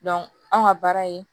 anw ka baara in